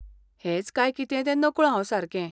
हेच काय कितें तें नकळो हांव सारकें.